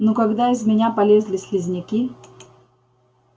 ну когда из меня полезли слизняки